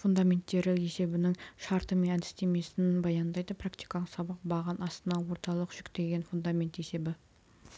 фундаменттері есебінің шарты мен әдістемесін баяндайды практикалық сабақ баған астына орталық жүктелген фундамент есебі